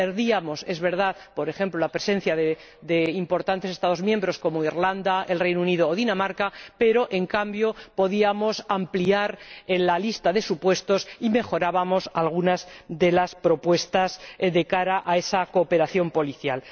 Perdíamos, por ejemplo, la presencia de importantes Estados miembros, como Irlanda, el Reino Unido o Dinamarca, pero, en cambio, podíamos ampliar la lista de supuestos y mejorábamos algunas de las propuestas de cara a esa cooperación policial.